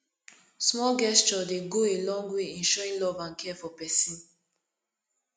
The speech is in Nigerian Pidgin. small gesture dey go a long way in showing love and care for pesin